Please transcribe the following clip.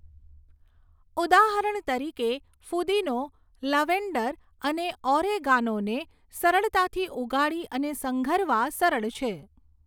ઉદાહરણ તરીકે, ફૂદીનો, લવેન્ડર અને ઓરેગાનોને સરળતાથી ઉગાડી અને સંઘરવા સરળ છે.